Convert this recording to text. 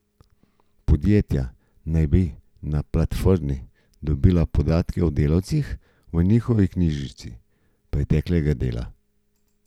Podjetja naj bi na platformi dobila podatke o delavcih v njihovi knjižici preteklega dela.